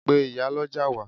Pe ìyálọ́jà wá!